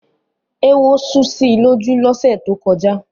Éwo sú si lójú lọ́sẹ̀ tó kọjá.